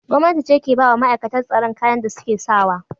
Gwamnati ce ke ba wa ma'aikatar tsaron kayan da suke sa wa.